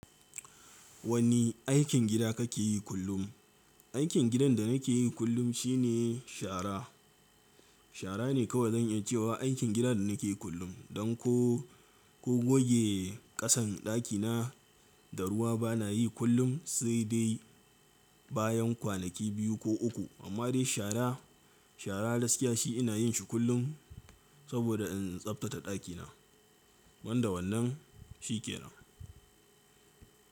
Wani aikin gida kake yi kullum? Aikin gidan da nake yi kullum shine shara. Shara ne kawai zan iya cewa aikin gidan da nake yi kullum. Don ko, ko goge kasan ɗakina da ruwa bana yi kullum sai dai bayan kwanaki biyu ko uku. Amma dai shara, shara gaske shi ina yin shi kullum saboda in tsabtata ɗakina. Banda wannan shi ke nan.